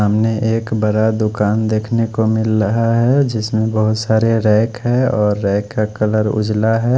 एक बहत बड़ा दुकान देख ने को मिल रहा है जिसमे बहत सारे रैक है और रैक का कलर उजला है।